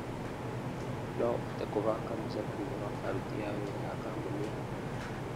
No ũhote kũbanga mũcemanio na aruti a wĩra a kambuni yakwa.